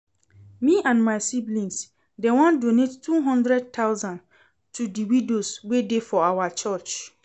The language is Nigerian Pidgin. Me and my sibling dem wan donate two hundred thousand to the widows wey dey for our church